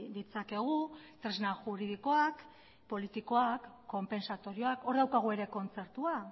ditzakegu tresna juridikoak politikoak konpentsatorioakhor daukagu ere kontzertua